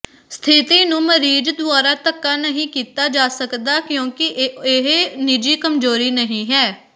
ਸਥਿਤੀ ਨੂੰ ਮਰੀਜ਼ ਦੁਆਰਾ ਧੱਕਾ ਨਹੀਂ ਕੀਤਾ ਜਾ ਸਕਦਾ ਕਿਉਂਕਿ ਇਹ ਨਿੱਜੀ ਕਮਜ਼ੋਰੀ ਨਹੀਂ ਹੈ